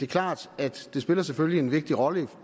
klart at det selvfølgelig spiller en vigtig rolle